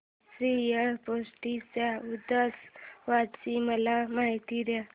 श्रीयाळ षष्टी च्या उत्सवाची मला माहिती दे